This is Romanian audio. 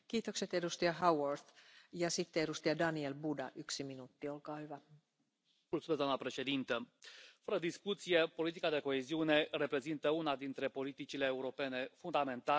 Doamna președintă, fără discuție, politica de coeziune reprezintă una dintre politicile europene fundamentale, iar aceasta oferă cele mai bune instrumente de punere în aplicare a economiei circulare.